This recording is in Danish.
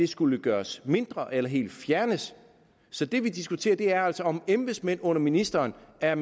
skulle gøres mindre eller helt fjernes så det vi diskuterer er altså om embedsmænd under ministeren er